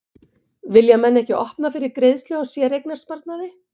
Vilja menn ekki að opna fyrir greiðslu á séreignasparnaði?